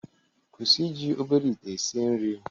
kwụsị iji obere ite esi nri